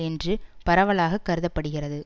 என்று பரவலாக கருத படுகிறது